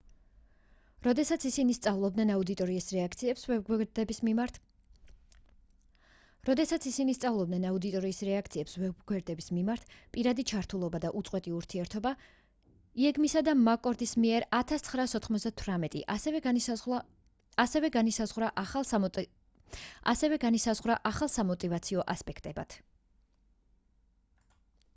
როდესაც ისინი სწავლობდნენ აუდიტორიის რეაქციებს ვებგვერდების მიმართ პირადი ჩართულობა და უწყვეტი ურთიერთობა ეიგმისა და მაკკორდის მიერ 1998 ასევე განისაზღვრა ახალ სამოტივაციო ასპექტებად